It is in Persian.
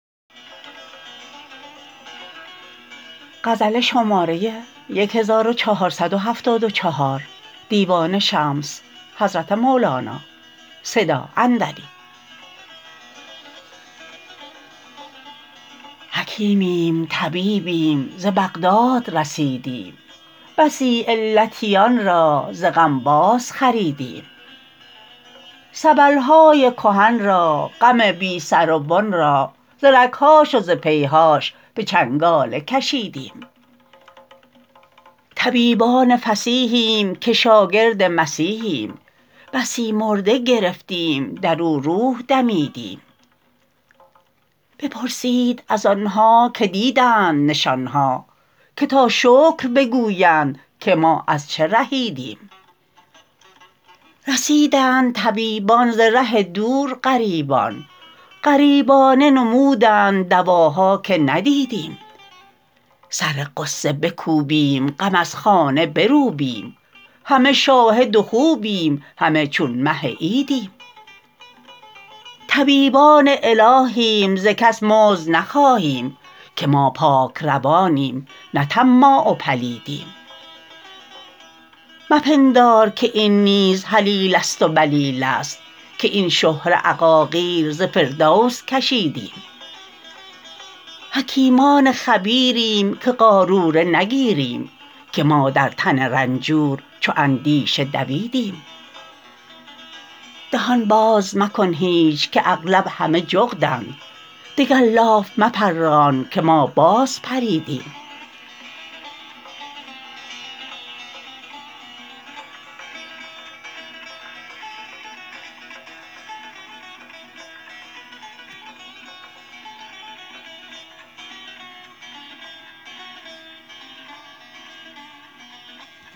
حکیمیم طبیبیم ز بغداد رسیدیم بسی علتیان را ز غم بازخریدیم سبل های کهن را غم بی سر و بن را ز رگ هاش و ز پی هاش به چنگاله کشیدیم طبیبان فصیحیم که شاگرد مسیحیم بسی مرده گرفتیم در او روح دمیدیم بپرسید از آن ها که دیدند نشان ها که تا شکر بگویند که ما از چه رهیدیم رسیدند طبیبان ز ره دور غریبان غریبانه نمودند دواها که ندیدیم سر غصه بکوبیم غم از خانه بروبیم همه شاهد و خوبیم همه چون مه عیدیم طبیبان الهیم ز کس مزد نخواهیم که ما پاک روانیم نه طماع و پلیدیم مپندار که این نیز هلیله ست و بلیله ست که این شهره عقاقیر ز فردوس کشیدیم حکیمان خبیریم که قاروره نگیریم که ما در تن رنجور چو اندیشه دویدیم دهان باز مکن هیچ که اغلب همه جغدند دگر لاف مپران که ما بازپریدیم